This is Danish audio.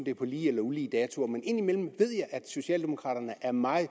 er på lige eller ulige datoer at socialdemokraterne er meget